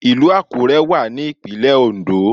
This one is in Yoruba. Ìlù Àkúrẹ́ wà ní ìpínlẹ̀ Oǹdó